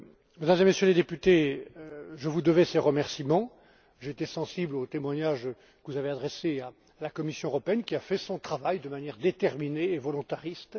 Mesdames et Messieurs les députés, je vous devais ces remerciements. J'ai été sensible aux témoignages que vous avez adressés à la Commission européenne, qui a fait son travail de manière déterminée et volontariste.